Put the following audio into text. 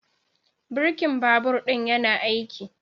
Birkin babur ɗin yana aiki?